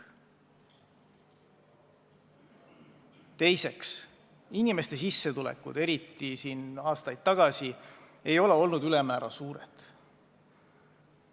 Teiseks, inimeste sissetulekud, eriti aastaid tagasi, ei ole olnud ülemäära suured.